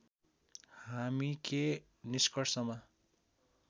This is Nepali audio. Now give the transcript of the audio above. हामी के निष्कर्षमा